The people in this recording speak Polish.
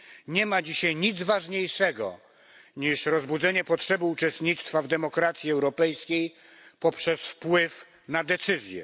Nie ma dzisiaj nic ważniejszego niż rozbudzenie potrzeby uczestnictwa w demokracji europejskiej poprzez wpływ na decyzje.